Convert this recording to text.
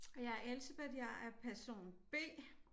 Og jeg er Elsebeth jeg er person B